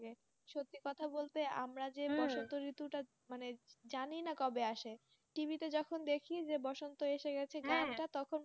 সত্যি কথা বলতে আমরা তো জানি না বসন্তঋতু কবে আসে? টিভিতে যখন দেখি বসন্ত এসে গেছে গানটা তখন,